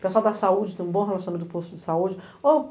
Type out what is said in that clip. Pessoal da saúde, tem um bom relacionamento com o posto de saúde. ô